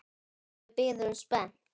Og við bíðum spennt.